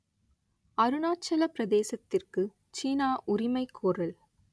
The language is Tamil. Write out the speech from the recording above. அருணாச்சலப் பிரதேசத்திற்கு சீனா உரிமை கோரல்